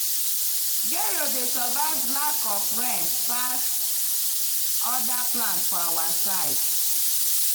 gero dey survive lack of rain pass other plants for our side.